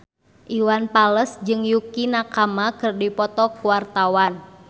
Iwan Fals jeung Yukie Nakama keur dipoto ku wartawan